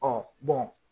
Ɔ